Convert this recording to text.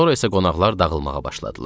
Sonra isə qonaqlar dağılmağa başladılar.